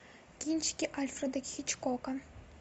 кинчики альфреда хичкока